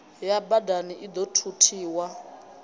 ya badani i ḓo thuthiwa